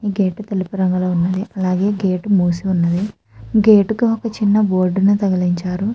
Gate తెలుపు రంగులో ఉన్నది అలాగే మూసి ఉన్నది. గేటు కి ఒక చిన్న బోర్డు ని తగ్గించారు.